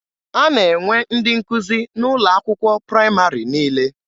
A na-enwe ndị nkụzi n'ụlọ akwụkwọ praịmarị niile.